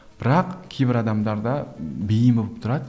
бірақ кейбір адамдарда бейім болып тұрады